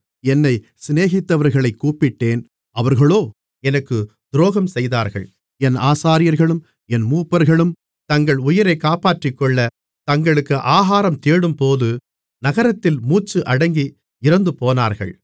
என்னைச் சிநேகித்தவர்களைக் கூப்பிட்டேன் அவர்களோ எனக்கு துரோகம் செய்தார்கள் என் ஆசாரியர்களும் என் மூப்பர்களும் தங்கள் உயிரைக் காப்பாற்றிக்கொள்ளத் தங்களுக்கு ஆகாரம் தேடும்போது நகரத்தில் மூச்சு அடங்கி இறந்துபோனார்கள்